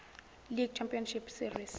league championship series